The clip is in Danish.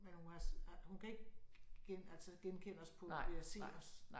Men hun har har hun kan ikke altså genkende os på ved at se os